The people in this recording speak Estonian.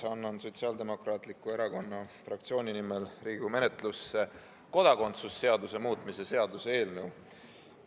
Annan Sotsiaaldemokraatliku Erakonna fraktsiooni nimel Riigikogu menetlusse kodakondsuse seaduse muutmise seaduse eelnõu.